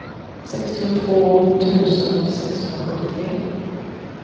sextiotvå tusen sexhundrasjuttiotre